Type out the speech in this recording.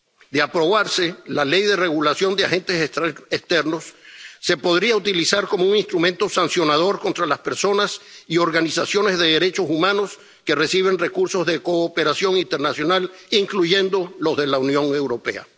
De aprobarse, la Ley de Regulación de Agentes Extranjeros se podría utilizar como un instrumento sancionador contra las personas y organizaciones de derechos humanos que reciben recursos de cooperación internacional, incluyendo los de la Unión Europea.